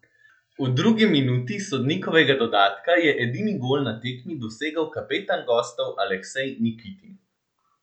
V drugi minuti sodnikovega dodatka je edini gol na tekmi dosegel kapetan gostov Aleksej Nikitin.